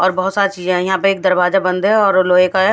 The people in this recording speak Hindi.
और बहुत सा चीज है यहाँ पे एक दरवाजा बंद है और लोहे का है।